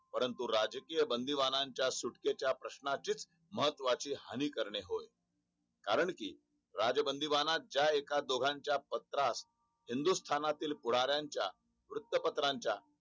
परंतु राजकीयबंदीबानाच्या सुटकेच्या प्रश्नाची च मह्त्ववाहानी हानी करणे होय. कारण कि राजबंदीबांना ज्या एकदोघायच्या पत्रात हिंदुस्थानातील पुढारणाच्या वृत्तपत्राच्या